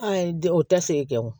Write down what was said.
A ye di o tɛ se kɛ o